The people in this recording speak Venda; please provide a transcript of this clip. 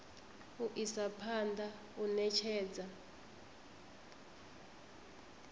u isa phanḓa u ṋetshedza